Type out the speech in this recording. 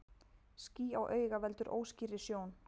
Ský á auga veldur óskýrri sjón.